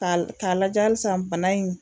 Ka ka lajɛ halisan bana in